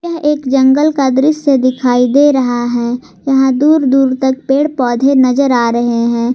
यह एक जंगल का दृश्य दिखाई दे रहा है यहां दूर दूर तक पेड़ पौधे नजर आ रहे हैं।